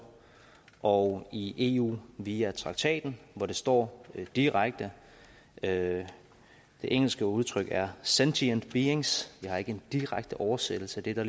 og i eu via traktaten hvor det står direkte det engelske udtryk er sentient beings jeg har ikke en direkte oversættelse der gør